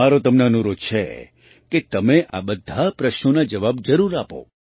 મારો તમને અનુરોધ છે કે તમે આ બધા પ્રશ્નોના જવાબ જરૂર આપો